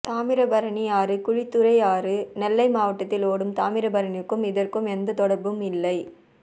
தாமிரபரணி ஆறு குழித்துறை ஆறு நெல்லை மாவட்டத்தில் ஓடும் தாமிரபரணிக்கும் இதற்கும் எந்த தொடர்பும் இல்லை